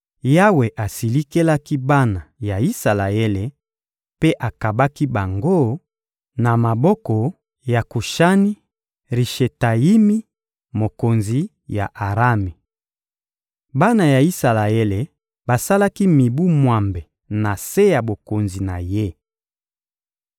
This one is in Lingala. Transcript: Yawe asilikelaki bana ya Isalaele, mpe akabaki bango na maboko ya Kushani-Rishetayimi, mokonzi ya Arami. Bana ya Isalaele basalaki mibu mwambe na se ya bokonzi na ye.